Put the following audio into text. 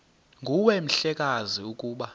nguwe mhlekazi ukuba